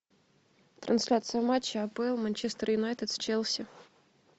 трансляция матча апл манчестер юнайтед с челси